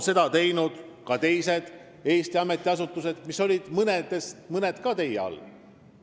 Seda on teinud teisedki Eesti ametiasutused, millest mõni oli ka teie all.